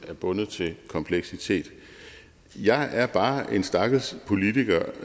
er bundet til kompleksitet jeg er bare en stakkels politiker